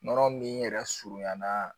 Nɔnɔ min yɛrɛ surunyan na